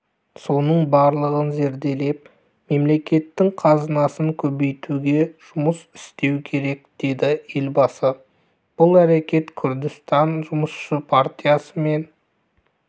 соның барлығын зерделеп мемлекеттің қазынасын көбейтуге жұмыс істеу керек деді елбасы бұл әрекет күрдістан жұмысшы партиясымен